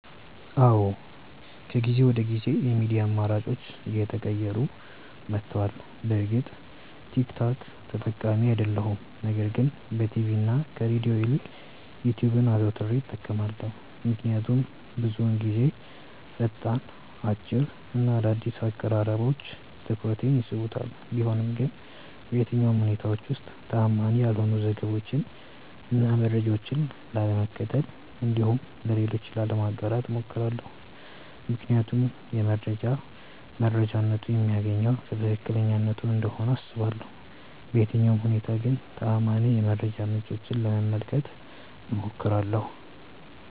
አዎ ከጊዜ ወደ ጊዜ የሚዲያ አማራጬ እየተቀየረ መቷል። በእርግጥ ቲክ ቶክ ተጠቃሚ አይደለሁም ነገር ግን በቲቪ እና ከሬድዮ ይልቅ ዩትዩብን አዘውትሬ እጠቀማለሁ። ምክንያቱም ብዙውን ጊዜ ፈጣን፣ አጭር እና አዳዲስ አቀራረቦች ትኩረቴን ይስቡታል። ቢሆንም ግን በየትኛውም ሁኔታዎች ውስጥ ተአማኒ ያልሆኑ ዘገባዎችን እና መረጃዎችን ላለመመልከት እንዲሁም ለሌሎች ላለማጋራት እሞክራለሁ። ምክንያቱም የመረጃ መረጃነቱ የሚገኘው ከትክክለኛነቱ እንደሆነ አስባለሁ። በየትኛውም ሁኔታ ግን ተአማኒ የመረጃ ምንጮችን ለመመልከት እሞክራለሁ።